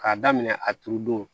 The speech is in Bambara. K'a daminɛ a turu don